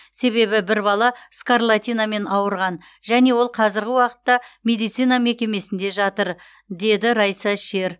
себебі бір бала скарлатинамен ауырған және ол қазіргі уақытта медицина мекемесінде жатыр деді райса шер